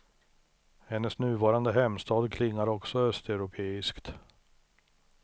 Hennes nuvarande hemstad klingar också östeuropeiskt.